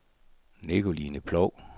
Nicoline Ploug